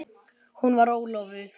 Hún var ólofuð.